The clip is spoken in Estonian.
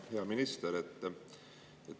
Hea minister!